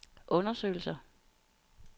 undersøgelser